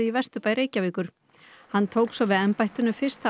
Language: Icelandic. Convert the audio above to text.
hann tók svo við embættinu fyrsta ágúst fyrir sléttum